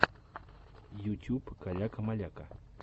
ютюб каляка маляка